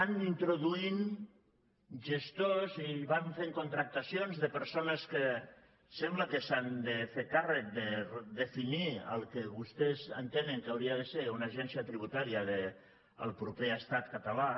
van introduint gestors i van fent contractacions de persones que sembla que s’han de fer càrrec de definir el que vostès entenen que hauria de ser una agència tributària del proper estat català